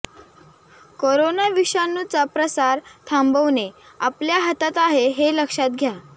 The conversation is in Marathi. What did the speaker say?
करोना विषाणूचा प्रसार थांबवणे आपल्या हातात आहे हे लक्षात घ्या